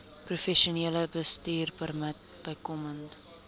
professionele bestuurpermit bykomend